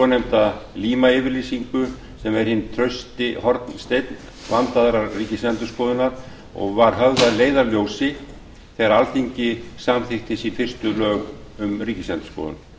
nefnda líma yfirlýsingu sem er hinn trausti hornsteinn vandaðrar ríkisendurskoðunar og var höfð að leiðarljósi þegar alþingi samþykkti sín fyrstu lög um ríkisendurskoðun